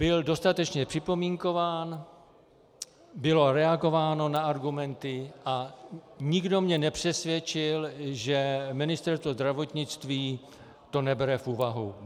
Byl dostatečně připomínkován, bylo reagováno na argumenty a nikdo mě nepřesvědčil, že Ministerstvo zdravotnictví to nebere v úvahu.